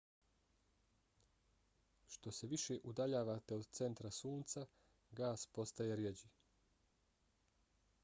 što se više udaljavate od centra sunca gas postaje rjeđi